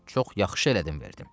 Çox yaxşı elədim, verdim.